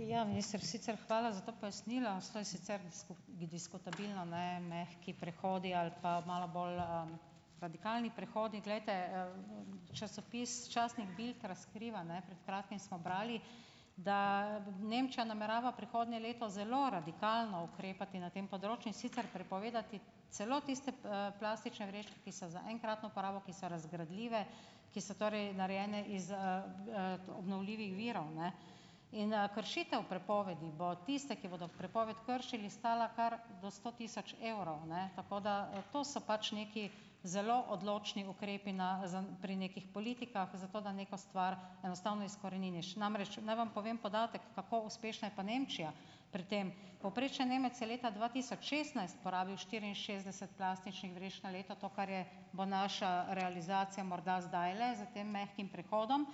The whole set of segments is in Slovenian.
Ja, minister, sicer hvala za ta pojasnila. Diskutabilno, ne, mehki prehodi ali pa malo bolj, radikalni prehodi. Glejte, časopis, častnik Bild razkriva, ne, pred kratkim smo brali, da Nemčija namerava prihodnje leto zelo radikalno ukrepati na tem področju, in sicer prepovedati celo tiste, plastične vrečke, ki so za enkratno uporabo, ki so razgradljive, ki so torej narejene iz, obnovljivih virov, ne. In kršitev prepovedi bo tiste, ki bodo prepoved kršili, stala kar do sto tisoč evrov, ne, tako da, to so pač nekaj zelo odločni ukrepi na pri nekih politikah zato, da neko stvar enostavno izkoreniniš. Namreč, naj vam povem podatek, kako uspešna je pa Nemčija pri tem. Povprečen Nemec je leta dva tisoč šestnajst porabil štiriinšestdeset plastičnih vrečk na leto, to, kar je bo naša realizacija morda zdajle za tem mehkim prehodom.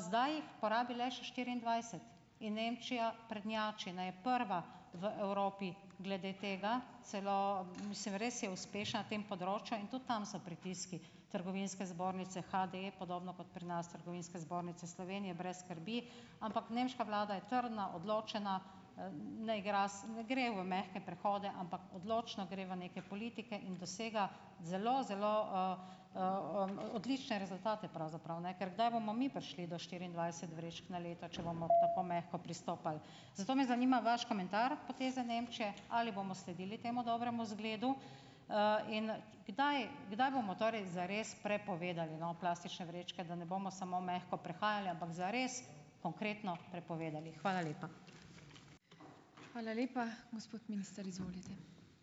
Zdaj jih uporabi le še štiriindvajset in Nemčija prednjači, ne, je prva v Evropi glede tega, celo ... Mislim, res je uspešna tem področju in tudi tam so pritiski trgovinske zbornice HD, podobno kot pri nas Trgovinske zbornice Slovenije, brez skrbi, ampak nemška vlada je trdna, odločena, ne igra ne gre v mehke prehode, ampak odločno gre v neke politike in dosega zelo zelo odlične rezultate pravzaprav, ne. Ker kdaj bomo mi prišli do štiriindvajset vrečk na leto, če bomo tako mehko pristopali? Zato me zanima vaš komentar poteze Nemčije? Ali bomo sledili temu dobremu izgledu? in kdaj kdaj bomo torej zares prepovedali, no, plastične vrečke, da ne bomo samo mehko prehajali, ampak zares konkretno prepovedali. Hvala lepa.